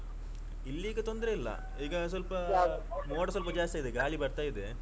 ಇಲ್ಲಿ ಈಗ ತೊಂದ್ರೆ ಇಲ್ಲ ಈಗ ಸ್ವಲ್ಪ ಮೋಡ ಸ್ವಲ್ಪ ಜಾಸ್ತಿ ಆಗಿದೆ ಗಾಳಿ ಬರ್ತಾ ಇದೆ.